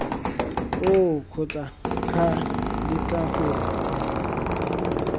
oo kgotsa ca letla gore